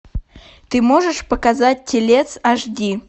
ты можешь показать телец аш ди